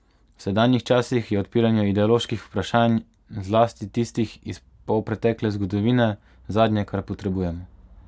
V sedanjih časih je odpiranje ideoloških vprašanj, zlasti tistih iz polpretekle zgodovine, zadnje, kar potrebujemo.